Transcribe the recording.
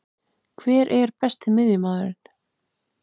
Hver er Besti miðjumaðurinn?